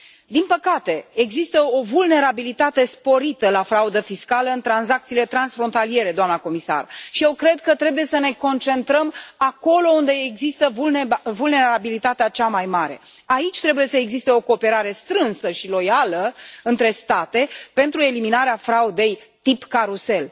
Din păcate, există o vulnerabilitate sporită la fraudă fiscală în tranzacțiile transfrontaliere, doamnă comisar, și eu cred că trebuie să ne concentrăm acolo unde există vulnerabilitatea cea mai mare. Aici trebuie să existe o cooperare strânsă și loială între state pentru eliminarea fraudei de tip carusel.